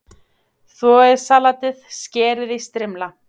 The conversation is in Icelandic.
Þvoið salatið, skerið í strimla.